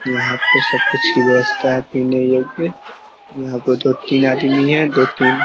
यहाँ पर सब कुछ की व्यवस्था है तो पीने योग्य यहाँ पर दो तीन आदमी है दो तीन --